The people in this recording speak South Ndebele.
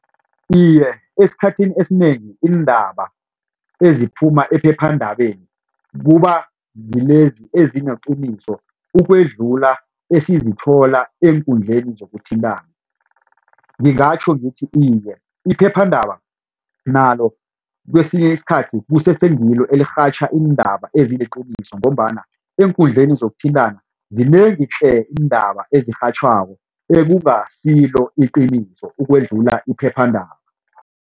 Iye esikhathini esinengi iindaba eziphuma ephephandabeni kuba ngilezi ezineqiniso ukwedlula esizithola eenkundleni zokuthintana ngingatjho ngithi iye iphephandaba nalo kwesinye isikhathi kusese ngilo elirhatjha iindaba eziliqiniso ngombana eenkundleni zokuthintana zinengi tle iindaba ezirhatjhwako ekungasilo iqiniso ukudlula iphephandaba.